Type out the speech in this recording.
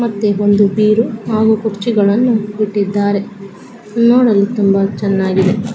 ಮತ್ತೆ ಒಂದು ಬೀರು ಹಾಗು ಕುರ್ಚಿ ಗಳನ್ನು ಇಟ್ಟಿದ್ದಾರೆ. ನೋಡಲು ತುಂಬಾ ಚನ್ನಾಗಿ--